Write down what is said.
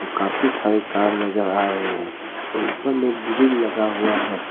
काफी सारे कार नजर आ रहे हैं ऊपर में ग्रील लगा हुआ है।